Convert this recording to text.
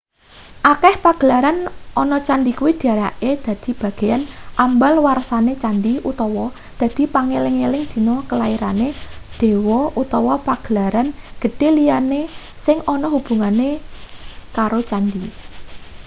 akeh pagelaran ana candhi kuwi dirayakne dadi bageyan ambal warsane candhi utawa dadi pangeling-eling dina kelairane dewa utawa pagelaran gedhe liyane sing ana hubungan ekaro candhi